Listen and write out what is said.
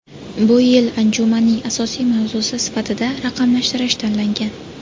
Bu yil anjumanning asosiy mavzusi sifatida raqamlashtirish tanlangan.